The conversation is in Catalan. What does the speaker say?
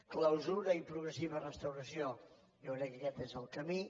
clausura i progressiva restauració jo crec que aquest és el camí